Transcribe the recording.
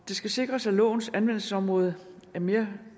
det skal sikres at lovens anvendelsesområde mere